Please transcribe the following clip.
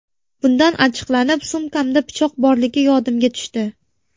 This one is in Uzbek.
Bundan achchiqlanib, sumkamda pichoq borligi yodimga tushdi.